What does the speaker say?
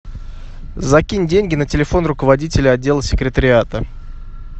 закинь деньги на телефон руководителя отдела секретариата